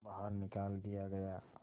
बाहर निकाल दिया गया